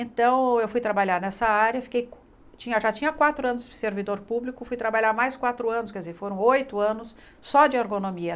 Então, eu fui trabalhar nessa área, fiquei tinha já tinha quatro anos de servidor público, fui trabalhar mais quatro anos, quer dizer, foram oito anos só de ergonomia.